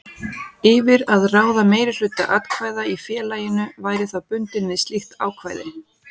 yfir að ráða meirihluta atkvæða í félaginu væri þá bundinn við slíkt ákvæði.